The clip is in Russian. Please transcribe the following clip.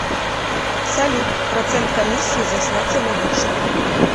салют процент комиссии за снятие наличных